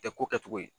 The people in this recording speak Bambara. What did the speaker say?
Tɛ ko kɛ cogo ye